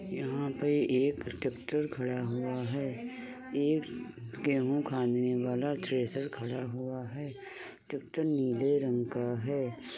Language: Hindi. यहां पर एक ट्रैक्टर खड़ा हुआ है। एक गेहूं खानने वाला थ्रेशर खड़ा हुआ है। ट्रैक्टर नीले रंग का है।